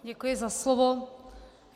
Děkuji za slovo.